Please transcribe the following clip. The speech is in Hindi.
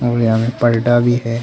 पलटा भी है।